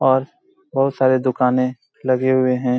और बहुत सारे दुकाने लगे हुए हैं।